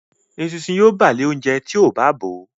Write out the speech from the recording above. Eṣinṣin yíò bàa le oúnjẹ rẹ tíó bá bọ